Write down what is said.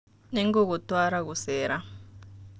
Nĩngũgũtwara gũcera.